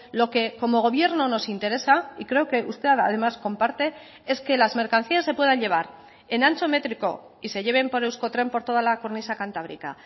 lo que como gobierno nos interesa y creo que usted además comparte es que las mercancías se puedan llevar en ancho métrico y se lleven por euskotren por toda la cornisa cantábrica